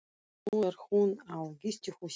Nú er hún á gistihúsi á